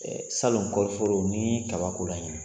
Salon kɔɔriforo n'i ye kabak'o la ɲina